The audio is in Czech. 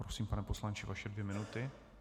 Prosím, pane poslanče, vaše dvě minuty.